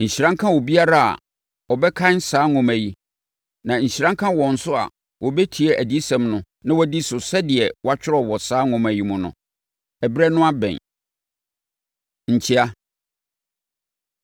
Nhyira nka obiara a ɔbɛkan saa nwoma yi, na nhyira nka wɔn nso a wɔtie adiyisɛm no na wɔdi so sɛdeɛ wɔatwerɛ wɔ saa nwoma yi mu no. Ɛberɛ no abɛn. Nkyea